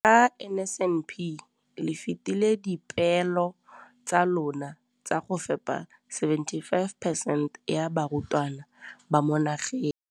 Ka NSNP le fetile dipeelo tsa lona tsa go fepa masome a supa le botlhano a diperesente ya barutwana ba mo nageng.